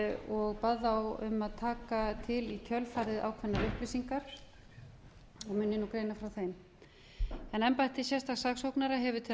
og bað þá um að taka til í kjölfarið ákveðnar upplýsingar og mun ég nú greina frá þeim embætti sérstaks saksóknara hefur til